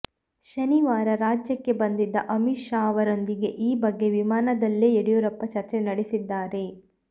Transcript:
ಶನಿವಾರ ರಾಜ್ಯಕ್ಕೆ ಬಂದಿದ್ದ ಅಮಿತ್ ಶಾ ಅವರೊಂದಿಗೆ ಈ ಬಗ್ಗೆ ವಿಮಾನದಲ್ಲೇ ಯಡಿಯೂರಪ್ಪ ಚರ್ಚೆ ನಡೆಸಿದ್ದಾರೆ